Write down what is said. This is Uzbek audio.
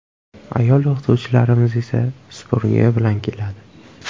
Ayol o‘qituvchilarimiz esa supurgi bilan keladi.